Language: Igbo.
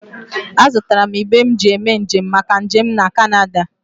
Azụtara m igbe m ji eme njem maka njem m na Kanada